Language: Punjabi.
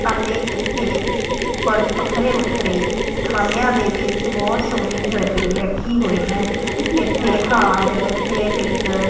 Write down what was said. ਅਤੇ ਇੱਥੇ ਵੱਖਰੇ ਵੱਖਰੇ ਖਾਨੇਆ ਦੇ ਵਿੱਚ ਬਹੁਤ ਸੋਹਣੇ ਜਿਵੇਲਰੀ ਰੱਖੀ ਹੋਈ ਹੈ ਇਥੇ ਹਾਰ ਏਅਰ ਰਿੰਗ --